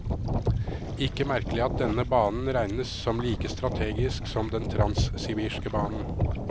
Ikke merkelig at denne banen regnes som like strategisk som den transsibirske banen.